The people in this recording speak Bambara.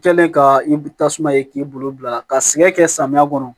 Kɛlen ka i tasuma ye k'i bolo bila ka sig'a kɛ samiya kɔnɔ